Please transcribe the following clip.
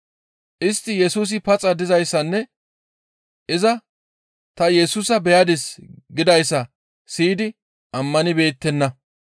Istti Yesusi paxa dizayssanne iza ta Yesusa beyadis gidayssa siyidi ammanibeettenna.